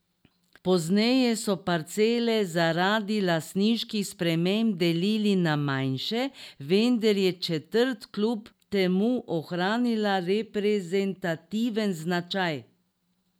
Pozneje so parcele zaradi lastniških sprememb delili na manjše, vendar je četrt kljub temu ohranila reprezentativen značaj.